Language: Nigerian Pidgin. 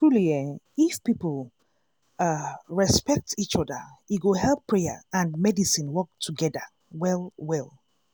truely eeh if people ah respect each oda e go help prayer and medicine work togeda well well.